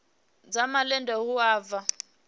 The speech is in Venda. dza malende hu a vha